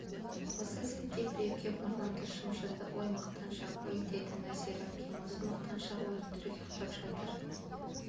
осы сәтте біреу кеп мұрнымды шымшыды ой мақтаншақ-ой деді нәзира әпкем осы мақтаншақ өтірік ұйықтап жатыр